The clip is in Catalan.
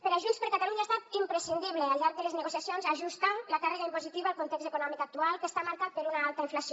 per a junts per catalunya ha estat imprescindible al llarg de les negociacions ajustar la càrrega impositiva al context econòmic actual que està marcat per una alta inflació